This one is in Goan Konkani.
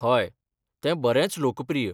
हय, तें बरेंच लोकप्रिय.